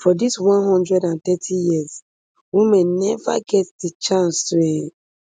for dis one hundred and thirty years women neva really get di chance to um